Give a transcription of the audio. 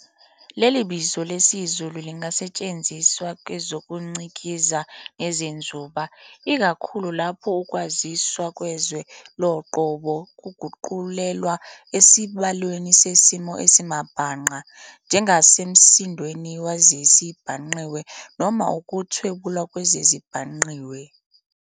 Leli bizo lesizulu lingasetshenziswa kwezokucikiza nezenzuba, ikakhulu lapho ukwaziswa kwezwe loqobo kuguqulelwa esibalweni sesimo esimabhangqa njengasemsindweni wezezibhangqiwe noma ukuthwebula kwezezibhangqiwe.